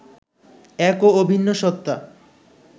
এক ও অভিন্ন সত্তা